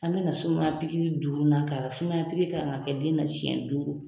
An bɛ na sumaya pikiri duurunan k'a la sumaya pikiri kan ka kɛ den na siyɛn duuru.